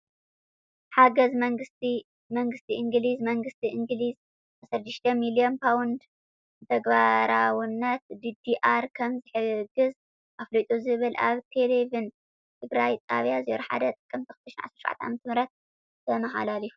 ሓገዝ መንግስቲ እንግሊዝ መንግስቲ እንግለዝ 16 ሚሊዮን ፓውንድንተግባራዊነት ዲዲኣር ከም ዝሕግዝ ኣፍሊጡ ዝብል ኣብ ቴሌቨን ትግራይ ጣብያ 01 ጥቅምቲ 2017ዓ/ም ተመሓላሊፉ።